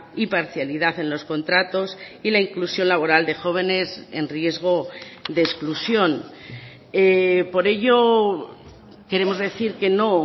y parcialidad en los contratos y la inclusión laboral de jóvenes en riesgo de exclusión por ello queremos decir que no